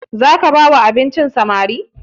Za ka ba wa samarin abinci?